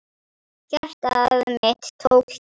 Hjarta mitt tók kipp.